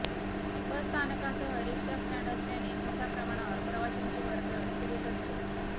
बसस्थानकासह rickshaw stand असल्याने मोठ्या प्रमाणावर प्रवाश्यांची वर्दळ सुरूच असते